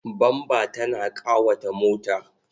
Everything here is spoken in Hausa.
Bamba tana ƙawata mota.